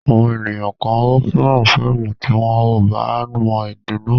Àwọn ènìyàn kan ò fẹ́ràn fíìmù tí wọn ò bá mọ èdè náà.